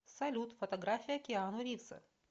салют фотография киану ривза